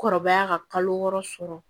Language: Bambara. Kɔrɔbaya ka kalo wɔɔrɔ sɔrɔ